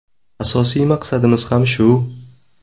Asosiy maqsadimiz ham shu.